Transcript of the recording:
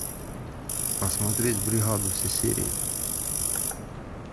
посмотреть бригаду все серии